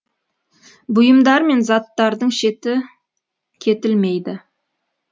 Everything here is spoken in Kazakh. бұйымдар мен заттардың шеті кетілмейді